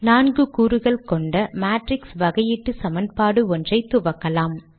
நான்கு கூறுகள் கொண்ட மேட்ரிக்ஸ் வகையீட்டு சமன்பாடு ஒன்றை துவக்கலாம்